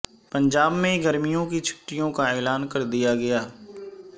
پنجاب میں گرمیوں کی چھٹیوں کا اعلان کردیا گیا